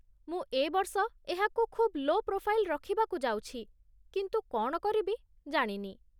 ମୁଁ ଏ ବର୍ଷ ଏହାକୁ ଖୁବ୍ ଲୋ ପ୍ରୋଫାଇଲ୍ ରଖିବାକୁ ଯାଉଛି, କିନ୍ତୁ କ'ଣ କରିବି ଜାଣିନି।